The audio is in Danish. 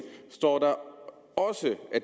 at